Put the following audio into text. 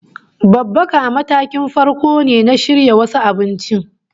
Babbaka ma matakin farko ne na shirya wasu abinci